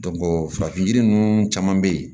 farafin yiri ninnu caman be ye